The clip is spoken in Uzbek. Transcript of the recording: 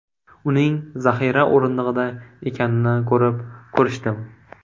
Uning zaxira o‘rindig‘ida ekanini ko‘rib, ko‘rishdim.